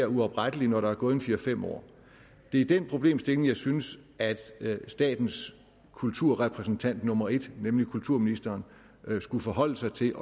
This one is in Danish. uopretteligt når der er gået en fire fem år det er den problemstilling jeg synes statens kulturrepræsentant nummer en nemlig kulturministeren skulle forholde sig til